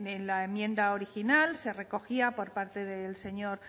en la enmienda original se recogía por parte del señor